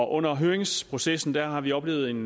under høringsprocessen har vi oplevet en